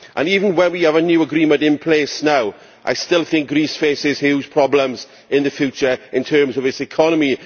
Even with a new agreement in place now, I still think Greece faces huge problems in the future in terms of its economy.